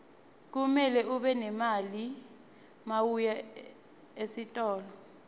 kumele ube nemali mawuya etitolo